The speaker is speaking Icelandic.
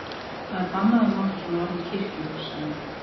Það er bannað að nota svona orð í kirkjum, sagði